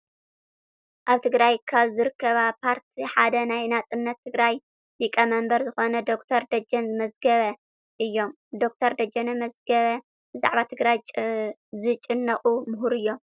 ኣብ ትግራይ ካብ ዝርከባ ፖርቲ ሓደ ናይ ናፃነት ትግራይ ሊቀመንበር ዝኮኑ ዶክተር ደጀን መዝገበ እዩም። ዶክተር ደጀን መዝገበ ብዛዕባ ትግራይ ዝጭነቁ ሙሁር እዮም።